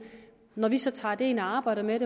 når vi så tager det ind og arbejder med